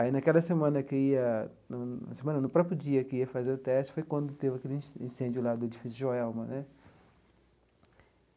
Aí, naquela semana que ia, na semana não no próprio dia que ia fazer o teste, foi quando teve aquele incêndio lá do Edifício Joelma né.